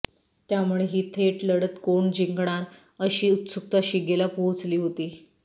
त्यामुळे ही थेट लढत कोण जिंकणार अशी उत्सुकता शिगेला पोहोचली होती